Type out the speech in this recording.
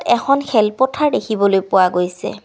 এখন খেলপথাৰ দেখিবলৈ পোৱা গৈছে।